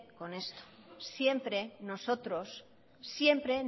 con esto siempre